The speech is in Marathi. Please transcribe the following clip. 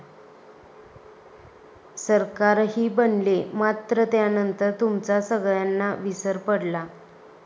सरकारही बनले, मात्र त्यानंतर तुमचा सगळ्यांना विसर पडला.